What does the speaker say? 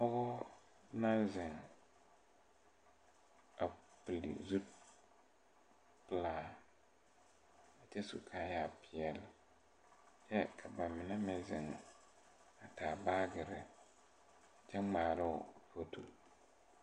Pɔgɔ naŋ zeŋ a pile zupile pelaa kyɛ su kaayɛ peɛle kyɛ ka ba mine meŋ zeŋ a taa baagirre kyɛ ngmaaroo fotorre.